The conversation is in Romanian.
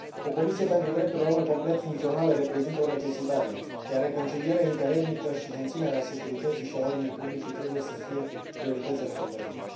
O comisie pentru drepturile omului complet funcțională reprezintă o necesitate, iar reconcilierea interetnică și menținerea securității și a ordinii publice trebuie să fie priorități ale Guvernului.